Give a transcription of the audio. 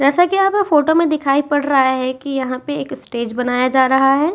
जैसा कि यहाँ पे फोटो में दिखाई पड़ रहा है कि यहां पे एक स्टेज बनाया जा रहा है।